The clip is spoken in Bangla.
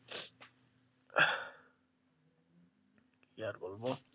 কি আর বলবো।